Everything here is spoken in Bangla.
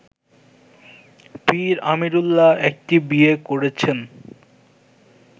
পীর আমিরুল্লাহ একটি বিয়ে করেছেন